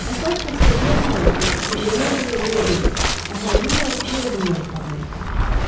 Əsas xəstəliyə Taun, yaxud qızdırma adı vermək deyil, əhalinin yarısını ölümdən qurtarmaqdır.